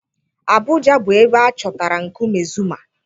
Abuuja bụ ebe a chọtara nkume Zuma